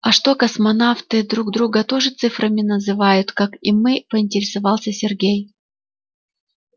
а что космонавты друг друга тоже цифрами называют как и мы поинтересовался сергей